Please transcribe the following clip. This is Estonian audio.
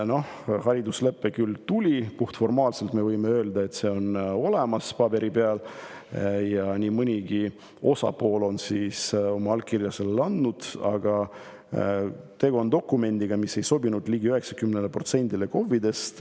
Hariduslepe küll tuli, puhtformaalselt – me võime öelda, et see on paberi peal olemas ja nii mõnigi osapool on oma allkirja sellele andnud –, aga tegu on dokumendiga, mis ei sobinud ligi 90%-le KOV-idest.